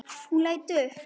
Hún leit upp.